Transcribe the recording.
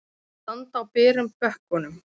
Að standa á berum bökkum